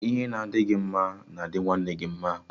Ihe na adị gị mma na-adi nwanne gị mma